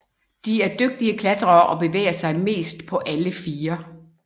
De er dygtige klatrere og bevæger sig mest på alle fire